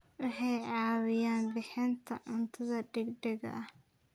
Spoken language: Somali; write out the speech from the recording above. Waxay caawiyaan bixinta cunto degdeg ah.